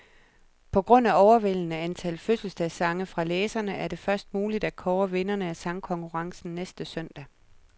På grund af overvældende antal fødselsdagssange fra læserne, er det først muligt at kåre vinderne af sangkonkurrencen næste søndag.